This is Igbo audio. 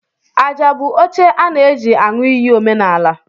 Aja bụ oche a na eji aṅụ iyi omenala.